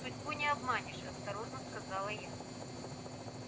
судьбу не обманешь осторожно сказала я